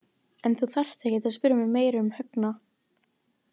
En þú þarft ekkert að spyrja mig meira um Högna.